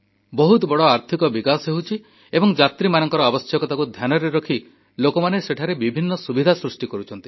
ବହୁତ ବଡ଼ ଆର୍ଥିକ ବିକାଶ ହେଉଛି ଏବଂ ଯାତ୍ରୀମାନଙ୍କର ଆବଶ୍ୟକତାକୁ ଧ୍ୟାନରେ ରଖି ଲୋକମାନେ ସେଠାରେ ବିଭିନ୍ନ ସୁବିଧା ସୃଷ୍ଟି କରୁଛନ୍ତି